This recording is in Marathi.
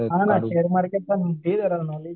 हां ना शेअर मार्केटचं पण दे जरा नॉलेज.